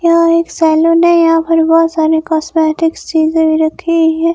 यहां एक सैलून है यहां पर बहोत सारी कॉस्मेटिक्स चीजे भी रखी है।